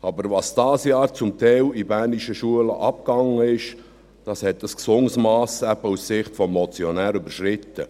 Was aber dieses Jahr zum Teil in bernischen Schulen abgelaufen ist, hat aus Sicht des Motionärs ein gesundes Mass überschritten.